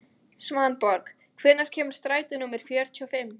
Svanborg, hvenær kemur strætó númer fjörutíu og fimm?